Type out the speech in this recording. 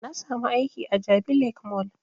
Na sami aiki a jabi lake mall